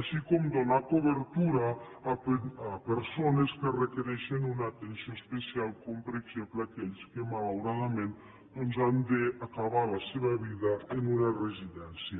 així com donar cobertura a persones que requereixen una atenció especial com per exemple aquells que malauradament doncs han d’acabar la seva vida en una residència